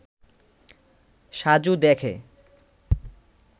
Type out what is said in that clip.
সাজু দেখে